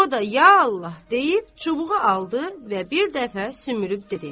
O da, ya Allah deyib, çubuğu aldı və bir dəfə sümürüb dedi.